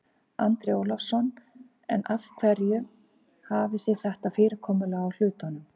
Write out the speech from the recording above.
Andri Ólafsson: En af hverju hafið þið þetta fyrirkomulag á hlutunum?